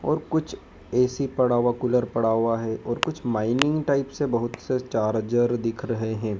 और कुछ ए_सी पड़ा हुआ कुलर पड़ा हुआ है और कुछ मीनिंग टाइप से बहुत से चार्जर दिख रहे हैं।